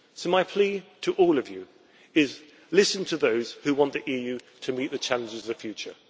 So my plea to all of you is, listen to those who want the EU to meet the challenges of the future.